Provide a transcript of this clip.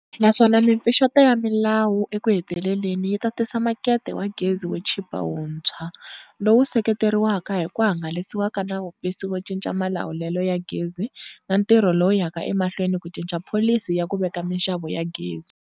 Naswona mipfuxeto ya milawu ekuheteleleni yi ta tisa makete wa gezi wo chipa wuntshwa, lowu seketeriwaka hi ku hangalasiwa ka Nawumbisi wo Cinca Malawulelo ya Gezi na ntirho lowu yaka emahlweni ku cinca Pholisi ya ku Veka Mixavo ya Gezi.